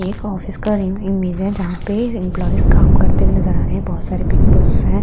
एक ऑफिस का इमेज है जहाँ पे एमप्लॉईज काम करते हुए नज़र आ रहे हैं बहुत सारे पेपर्स हैं।